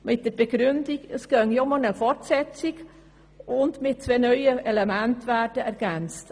Die Begründung war, es gehe um eine Fortsetzung und nur zwei neue Elemente würden ergänzt.